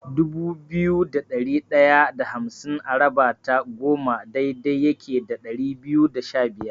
Dubu biyu da ɗari ɗaya da hamsin a raba ta goma daidai yake da ɗari biyu da shabiyar.